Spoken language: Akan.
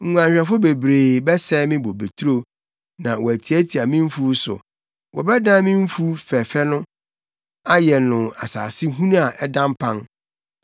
Nguanhwɛfo bebree bɛsɛe me bobeturo, na wɔatiatia me mfuw so; wɔbɛdan me mfuw fɛɛfɛ no ayɛ no asase hunu a ɛda mpan.